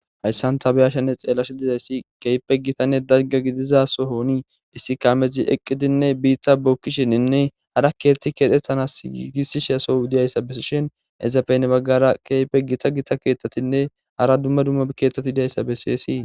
Hayssan tabiyashanne xeelash dizayssi keype gitanne dagga gidizaso hoonii issi kaamezi eqqidinne biitta bookkishininne hara keethti keexxettanas giigissishe sou diyayssa beishin ezafene baggara keype gita gita keeththatinne hara dumma dumma keththati deyayssa beseesi.